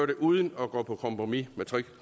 det uden at gå på kompromis med